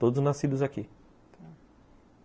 Todos nascidos aqui, tá.